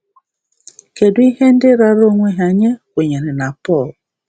Kedu ihe ndị raara onwe ha nye kwenyere na Pọl?